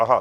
Aha.